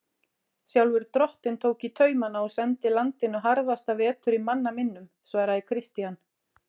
Sjálfur drottinn tók í taumana og sendi landinu harðasta vetur í manna minnum, svaraði Christian.